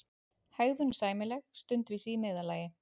hegðun sæmileg, stundvísi í meðallagi.